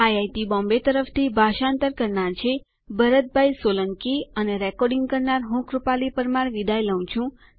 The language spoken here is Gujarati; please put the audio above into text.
આઇઆઇટી મુંબઈ તરફથી ભાષાંતર કરનાર હું ભરત સોલંકી વિદાય લઉં છું